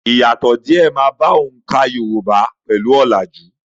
Ìyàtọ̀ díè máa bá oǹkà Yorùbá pẹ̀lú ọ̀làjú.